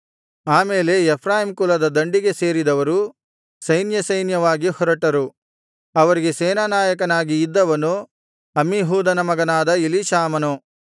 ಆ ಮೇಲೆ ಎಫ್ರಾಯೀಮ್ ಕುಲದ ದಂಡಿಗೆ ಸೇರಿದವರು ಸೈನ್ಯಸೈನ್ಯವಾಗಿ ಹೊರಟರು ಅವರಿಗೆ ಸೇನಾನಾಯಕನಾಗಿ ಇದ್ದವನು ಅಮ್ಮೀಹೂದನ ಮಗನಾದ ಎಲೀಷಾಮನು